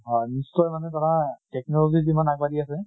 হয় নিশ্চয় মানে ধৰা technology যিমান আগ বাঢ়ি আছে